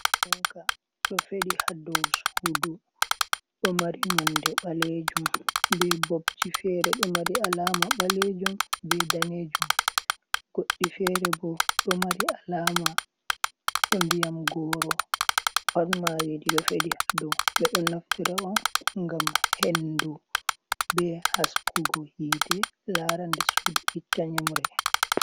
Funka ɗo feɗi ha dou sudu, ɗo mari nonde ɓalejum be bobji fere ɗo mari alama balejum be danejum, godɗi fere bo ɗo mari alama ba ndiyam goro pat maji ɗo feɗi ha dou, ɓe ɗo naftira'on ngam hendu be haskugo hite lara nde sudu itta nyimre.